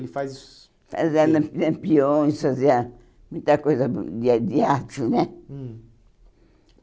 Ele faz... Fazendo peões, fazer eh muita coisa de de arte, né? Hum